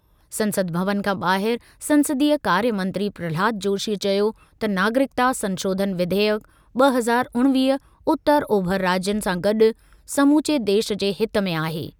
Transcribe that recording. संसद भवन खां ॿाहिर संसदीय कार्य मंत्री प्रह्लाद जोशीअ चयो त नागरिकता संशोधन विधेयक ॿ हज़ार उणिवीह उतर ओभर राज्यनि सां गॾु समूचे देश जे हित में आहे।